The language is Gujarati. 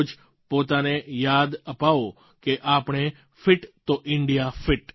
રોજ પોતાને યાદ અપાવો કે આપણે ફિટ તો ઇન્ડિયા ફિટ